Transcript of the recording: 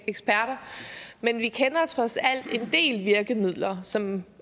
eksperter men vi kender trods alt en del virkemidler som